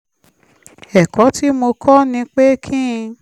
ẹ̀kọ́ tí mo kọ́ ni pé kí n